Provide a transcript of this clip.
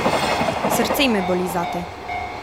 Srce me boli zate.